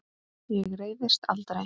Ég reiðist aldrei.